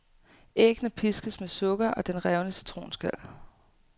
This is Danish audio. Æggene piskes med sukker og den revne citronskal.